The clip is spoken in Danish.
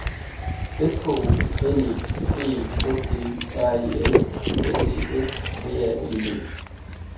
S K O L E B E S T Y R E L S E S V A L G